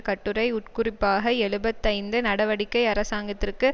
கட்டுரை உட்குறிப்பாக எழுபத்து ஐந்து நடவடிக்கை அரசாங்கத்திற்கு